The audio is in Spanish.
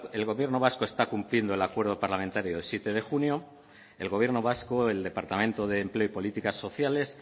el gobierno vasco está cumpliendo el acuerdo parlamentario del siete de junio el gobierno vasco el departamento de empleo y políticas sociales